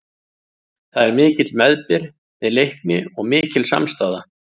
Það er mikill meðbyr með Leikni og mikil samstaða.